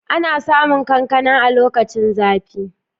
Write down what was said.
Ana samun kankana a lokacin zafi